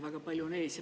Väga palju on ees.